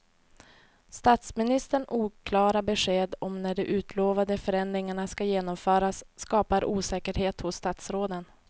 Statsministerns oklara besked om när de utlovade förändringarna ska genomföras skapar osäkerhet hos statsråden.